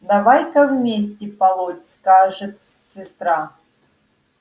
давай-ка вместе полоть скажет сестра